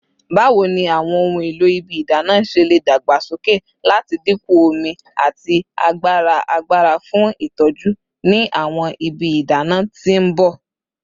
Bawo ni awọn ohun elo ibi idana ṣe le dagbasoke lati dinku omi ati agbara agbara fun itọju ni awọn ibi idana ti n bọ?